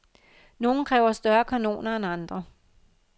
Nogle kræver større kanoner end andre.